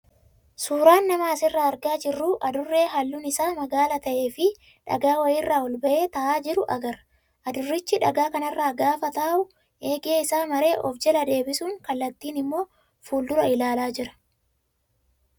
Suuraan nama asirraa argaa jirru adurree halluun isaa magaala ta'ee fi dhagaa wayiirra ol bahee taa'aa jiru agarra. Adurrichi dhagaa kanarra gaafa taa'u eegee isaa maree of jala deebisuun kallattiin immoo fuuldura ilaalaa jira.